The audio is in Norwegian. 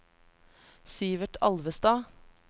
Sivert Alvestad